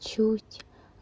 чуть